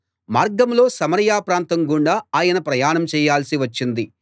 మార్గంలో సమరయ ప్రాంతం గుండా ఆయన ప్రయాణం చేయాల్సి వచ్చింది